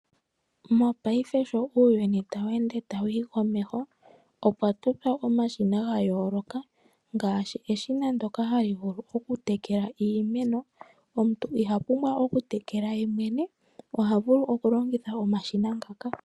Mopaife sho uuyuni tawu ende tawu yi komeho opwa totwa omashina gayooloka mgaashi eshina ndoka hali vulu okutekela iimeno. Omuntu iha pumbwa okutekela yemwene oha vulu okulongitha omashina ngaka.